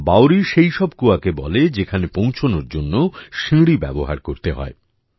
বাওড়ি সেই সব কুয়াকে বলে যেখানে পৌঁছানোর জন্য সিঁড়ি ব্যবহার করতে হয়